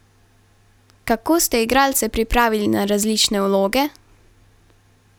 Kako ste igralce pripravili na različne vloge?